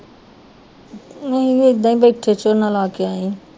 ਮੈਂ ਵੀ ਏਦਾਂ ਹੀ ਬੈਠੀ ਝੋਨਾ ਲਾ ਕੇ ਆਈ